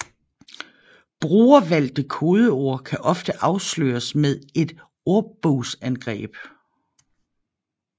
Brugervalgte kodeord kan ofte afsløres med et ordbogsangreb